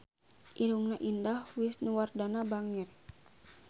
Irungna Indah Wisnuwardana bangir